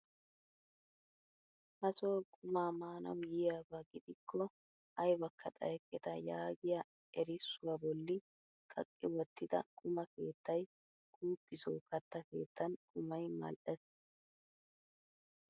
Ha soo qumaa manawu yiyaaba gidikko aybakka xayeketta yaagiyaa erissuwaa bolli kaqqi wottida quma keettay kuuki soo katta keettan qumay madhdhees!